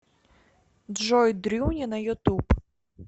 джой дрюня на ютуб